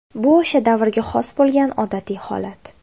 Bu o‘sha davrga xos bo‘lgan odatiy holat.